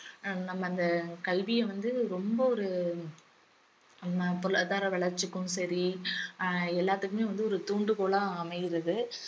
ஹம் நம்ம அந்த கல்விய வந்து ரொம்ப ஒரு நம்ம பொருளாதார வளர்ச்சிக்கும் சரி அஹ் எல்லாத்துக்குமே வந்து ஒரு தூண்டுகோலா அமைகிறது